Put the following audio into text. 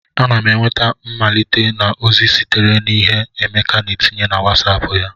Ana m enweta mmelite na ozi sitere na ihe Emeka na etinye na Wosop ya